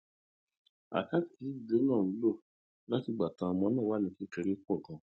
àkáǹtì tí ìdílé náà jọ ń lò látìgbà táwọn ọmọ náà ti wà ní kékeré pò ganan